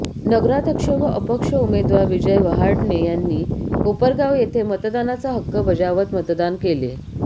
नगराध्यक्ष व अपक्ष उमेदवार विजय वहाडणे यांनी कोपरगाव येथे मतदानाचा हक्क बजावत मतदान केले